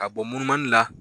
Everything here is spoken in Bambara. Ka bɔ munumanila.